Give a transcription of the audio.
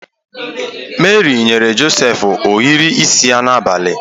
Meri nyere Josef ohiri isi ya n’abalị.